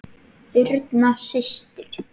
Birna systir.